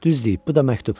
Düz deyib, bu da məktub.